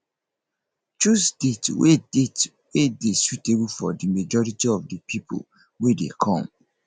choose date wey date wey dey suitable for di majority of di pipo wey dey come